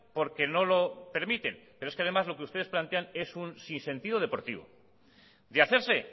porque no lo permiten pero es que además lo que ustedes plantean es un sin sentido deportivo de hacerse